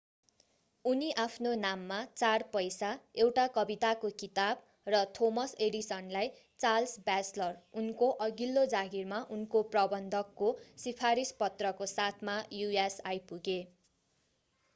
उनी आफ्नो नाममा 4 पैसा एउटा कविताको किताब र थोमस एडिसनलाई चार्ल्स ब्याचलर उनको अघिल्लो जागिरमा उनको प्रबन्धक को सिफारिस पत्रको साथमा us आइपुगे।